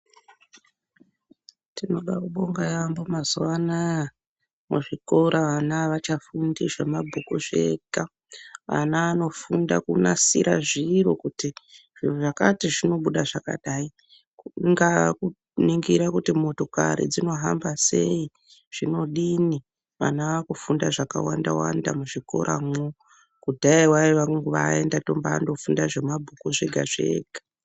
Tinoda kubonga yambo mazuwanaya vana avachafundi zvemabhuku zvega ana anofunda kunasira zviro kuti zviro zvakati zvinobuda zvakadai kunga kuningirwa kuti motokari dzinohamba sei, zvinodini vana vakufunda zvakawanda wanda muzvikoramwo kudhaya waivanguvatoenda kumba funda zvemabhuku zvega zvega.